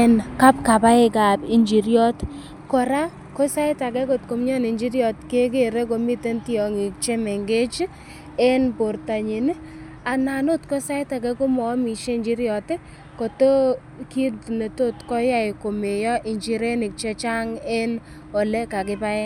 en kapkabaik ab injiryot. Kora ko sait age komioni injiryot keger komiten tiong'ik che mengech en bortanin anan ot ko sait age komoamishe njiryot koto kiit ne tot koyae komeyo injirenik che chang en ole kakibaen